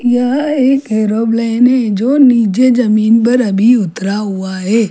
यह एक एरोप्लेन है जो नीचे जमीन पर अभी उतरा हुआ हैं।